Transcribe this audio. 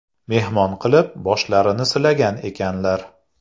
Mehmon qilib, boshlarini silagan ekanlar.